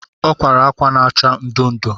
O kwara akwa ma-acha ndu ndu